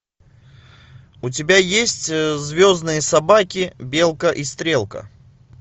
у тебя есть звездные собаки белка и стрелка